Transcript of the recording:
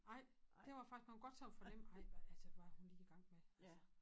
Nej det var faktisk man kune godt sådan fornemme ej men altså hvad hun lige i gang med altså